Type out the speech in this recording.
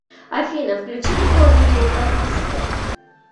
афина включи другое видео по списку